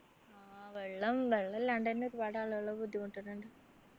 ആഹ് വെള്ളം വെള്ളമില്ലാണ്ട് എന്നെ ഒരുപാട് ആളുകള് ബുദ്ധിമുട്ടുന്നുണ്ട്